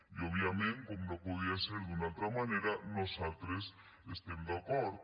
i òbviament com no podia ser d’una altra manera nosaltres hi estem d’acord